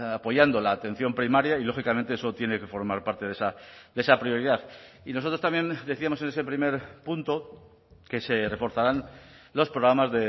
apoyando la atención primaria y lógicamente eso tiene que formar parte de esa prioridad y nosotros también decíamos en ese primer punto que se reforzarán los programas